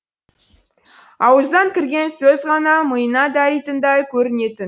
ауыздан кірген сөз ғана миына даритындай көрінетін